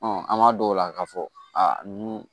an b'a dɔw la k'a fɔ a nin